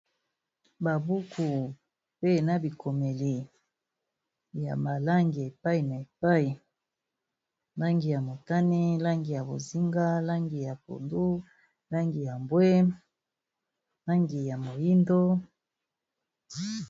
Ba buku pe na bikomeli ya ma langi epai na epai langi ya motani, langi ya bozinga, langi ya pondu, langi ya mbwe, langi ya moyindo.